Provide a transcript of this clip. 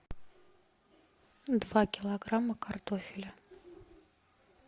два килограмма картофеля